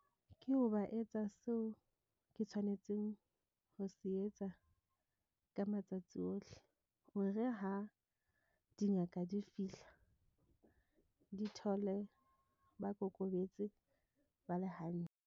Ke hoba e etsa seo ke tshwanetseng ho se etsa. Ka matsatsi ohle, hore ha dingaka di fihla di thole, ba kokobetse ba le .